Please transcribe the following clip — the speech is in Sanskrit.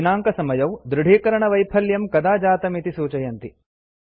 दिनाङ्कसमयौ दृढीकरणवैफल्यं कदा जातम् इति सूचयति